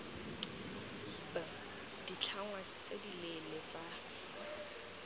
b ditlhangwa tse dileele tsa